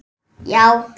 Já, það höfum við.